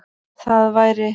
Það væri